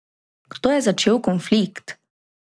Kdo je začel konflikt?